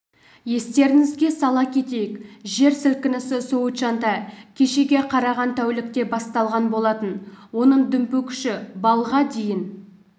естеріңізге сала кетейік жер сілкінісі сычуаньда кешеге қараған тәулікте басталған болатын оның дүмпу күші баллға дейін